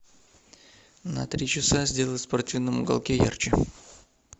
на три часа сделать в спортивном уголке ярче